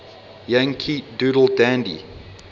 yankee doodle dandy